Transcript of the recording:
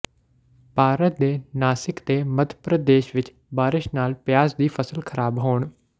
ਭਾਰਤ ਦੇ ਨਾਸਿਕ ਤੇ ਮੱਧ ਪ੍ਰਦੇਸ਼ ਵਿੱਚ ਬਾਰਸ਼ ਨਾਲ ਪਿਆਜ਼ ਦੀ ਫ਼ਸਲ ਖਰਾਬ ਹੋਣ